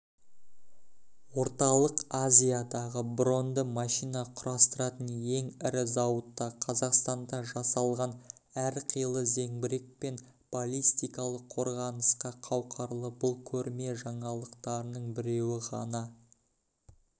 орталық азиядағы броньді машина құрастыратын ең ірі зауытта қазақстанда жасалған әрқилы зеңбірек пен балистикалық қорғанысқа қауқарлы бұл көрме жаңалықтарының біреуі ғана